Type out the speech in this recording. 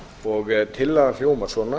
og tillagan hljómar svona